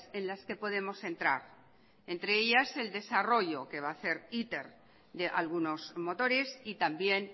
en las que podemos entrar entre ellas el desarrollo que va hacer iter de algunos motores y también